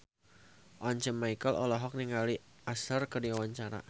Once Mekel olohok ningali Usher keur diwawancara